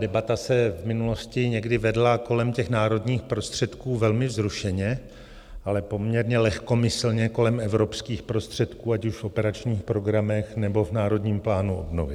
Debata se v minulosti někdy vedla kolem těch národních prostředků velmi vzrušeně, ale poměrně lehkomyslně kolem evropských prostředků, ať už v operačních programech, nebo v Národním plánu obnovy.